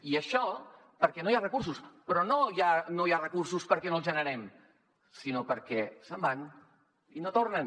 i això perquè no hi ha recursos però no no hi ha recursos perquè no els generem sinó perquè se’n van i no tornen